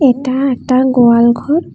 এটা একটা গোয়ালঘর।